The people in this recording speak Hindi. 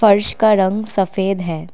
फर्श का रंग सफेद है।